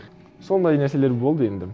сондай нәрселер болды енді